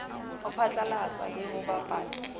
ho phatlalatsa le ho bapatsa